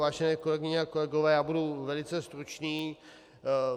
Vážené kolegyně a kolegové, já budu velice stručný.